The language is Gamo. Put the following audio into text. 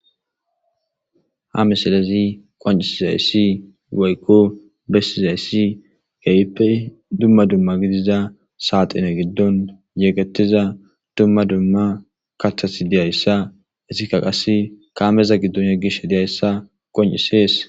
Ha misilezan woykon besizaysi kehippe duma duma gidiza saxine gidon yegetiza duma duma kathati dizaysa hesika qase kameza gido yegishe dizaysa qoncisise